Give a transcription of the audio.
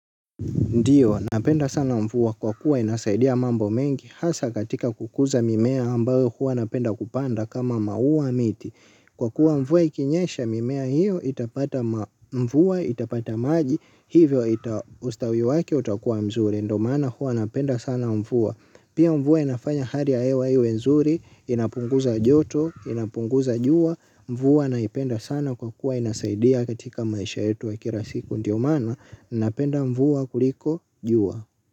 Ndiyo, napenda sana mvua kwa kuwa inasaidia mambo mengi, hasa katika kukuza mimea ambayo hua napenda kupanda kama maua miti. Kwa kuwa mvua ikinyesha mimea hiyo, itapata mvua, itapata maji, hivyo ita ustawi wake utakuwa mzuri, ndio maana huwa napenda sana mvua. Pia mvua inafanya hali ya hewa iwe nzuri, inapunguza joto, inapunguza jua, mvua naipenda sana kwa kuwa inasaidia katika maisha yetu ya kila siku, ndio maana. Napenda mvua kuliko jua.